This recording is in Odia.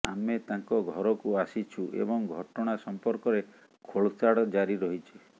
ଆମେ ତାଙ୍କ ଘରକୁ ଆସିଛୁ ଏବଂ ଘଟଣା ସମ୍ପର୍କରେ ଖୋଳତାଡ଼ ଜାରି ରହିଛି